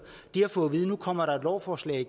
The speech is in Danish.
de har fået at vide nu kommer et lovforslag